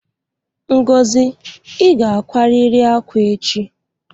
Ngozi, I ga ákwárịrị ákwá echi!